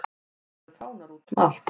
Það eru fánar útum allt.